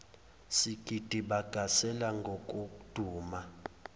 sigidi bagasela njengokuduma